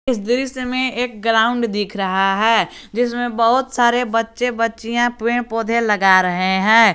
इस दृश्य में एक ग्राउंड दिख रहा है जिसमें बहुत सारे बच्चे बच्चियां पेड़ पौधे लगा रहे हैं।